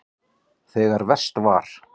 Þegar verst var.